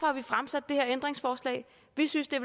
har vi fremsat det her ændringslovforslag vi synes det